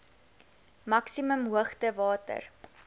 maksimum hoogte water